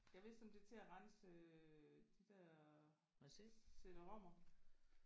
Gad vist om det er til at rense øh de der cd-rommer?